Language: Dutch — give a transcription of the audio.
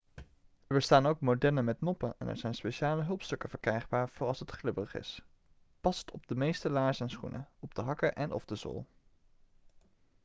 er bestaan ook modellen met noppen en er zijn speciale hulpstukken verkrijgbaar voor als het glibberig is: past op de meeste laarzen en schoenen op de hakken en/of de zool